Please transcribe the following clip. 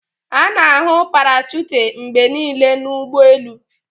A na-ahụ parachute mgbe niile na ụgbọ elu